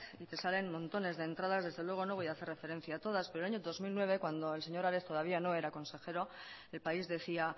y te salen montones de entradas desde luego no voy a hacer referencia a todas pero año dos mil nueve cuando el señor ares todavía no era consejero el país decía